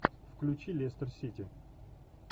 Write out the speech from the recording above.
включи лестер сити